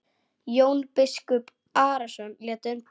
Jón biskup Arason lét undan.